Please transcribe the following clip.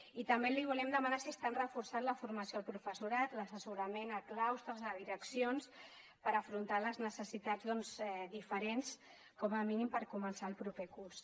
i també li volem demanar si estan reforçant la formació al professorat l’assessorament a claustres a direccions per afrontar les necessitats diferents com a mínim per començar el proper curs